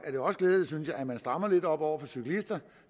er også glædeligt synes jeg at man strammer lidt op over for cyklister